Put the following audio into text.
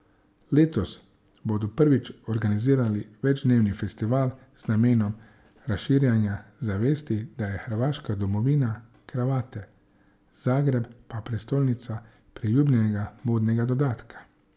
Letos bodo prvič organizirali večdnevni festival z namenom razširjanja zavesti, da je Hrvaška domovina kravate, Zagreb pa prestolnica priljubljenega modnega dodatka.